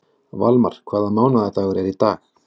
Valmar, hvaða mánaðardagur er í dag?